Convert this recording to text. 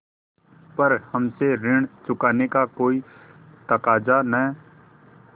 पर हमसे ऋण चुकाने का कोई तकाजा न